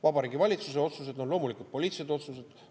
Vabariigi Valitsuse otsused on loomulikult poliitilised otsused.